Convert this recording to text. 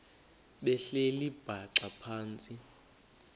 behleli bhaxa phantsi